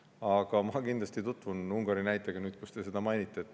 Aga ma kindlasti tutvun Ungari näitega, nüüd, kus te seda mainisite.